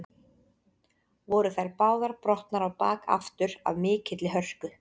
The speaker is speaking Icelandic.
Voru þær báðar brotnar á bak aftur af mikilli hörku.